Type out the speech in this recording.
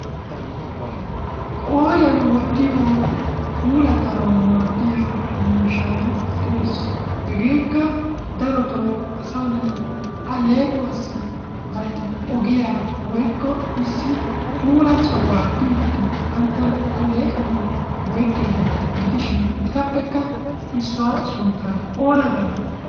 Qooriyan wotiyo puulatanawu maadiya miishshay de'ees. Hegeekka darottoo asaa na'ay alleequwaassi bantta ogiya woykko issi puula sohuwa biidi banttana aleeqqanawu go'ettiyogeeta gidishin etappekka issuwa sunttaa oona gaanee?